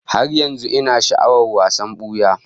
Har yanzu ina sha'awar wasan buya